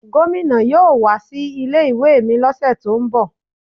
Gomina yóò wá sí ilé ìwé mi lọ́sẹ̀ tó ń bọ̀.